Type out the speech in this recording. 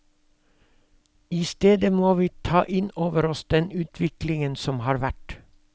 I stedet må vi ta inn over oss den utviklingen som har vært.